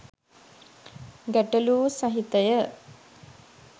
ගැටලූ සහිත ය